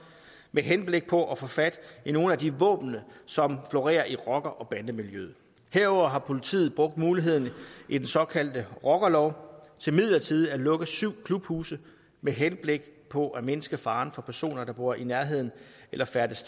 med henblik på at få fat i nogle af de våben som florerer i rocker bande miljøet herudover har politiet brugt muligheden i den såkaldte rockerlov til midlertidigt at lukke syv klubhuse med henblik på at mindske faren for personer der bor i nærheden af eller færdes